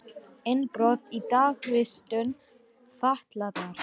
Innbrot í dagvistun fatlaðra